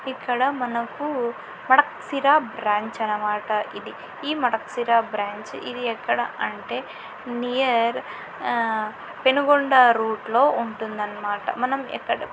ఇక్కడ మనకు Madakasira branch అన్నమాట ఈ మడక్ శిర బ్రాంచ్ ఇది ఎక్కడ అంటే నియర్ ఆ పెనుగొండ రోడ్డు లో ఉంటుంది అన్నమాట. మనం ఎక్కడ --